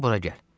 İndi bura gəl.